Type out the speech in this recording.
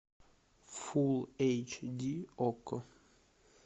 фулл эйч ди окко